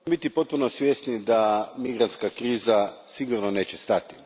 biti potpuno svjesni da migrantska kriza sigurno neće stati.